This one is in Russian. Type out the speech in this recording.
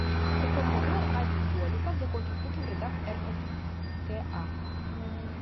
в каком году аркадий голиков закончил службу в рядах ркка